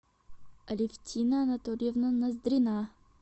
алевтина анатольевна ноздрина